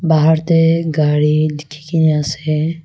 bahar teh gari likhi ki ne ase.